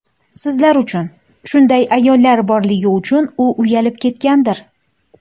Sizlar uchun, shunday ayollar borligi uchun u uyalib ketgandir.